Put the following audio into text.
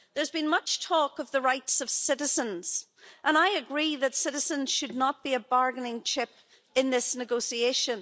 There's been much talk of the rights of citizens and I agree that citizens should not be a bargaining chip in this negotiation.